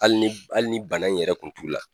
Hali ni hali ni bana yɛrɛ tun t'u la